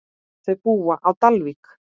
Þau búa á Dalvík.